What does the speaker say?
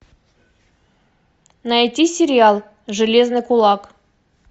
найти сериал железный кулак